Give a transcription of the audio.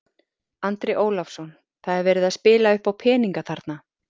Andri Ólafsson: Það er verið að spila uppá peninga þarna?